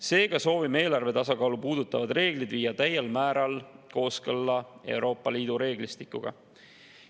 Seega soovime viia eelarve tasakaalu puudutavad reeglid täiel määral kooskõlla Euroopa Liidu reeglistikuga.